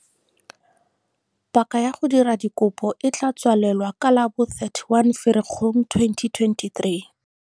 Paka ya go dira dikopo e tla tswalelwa ka la bo 31 Ferikgong 2023.